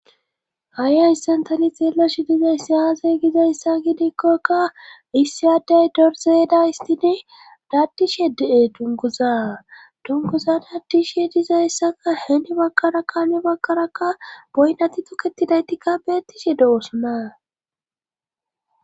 hai ayssantani xeelashi dizayssi yazey gizayssa gidikkokka issi aday dorzeda istidi daddishe de'e dunguza dunguza daddishe dizayssaka heeni bakkara kaeni bakkaraka boynati tuketidaytikka beettishe dosona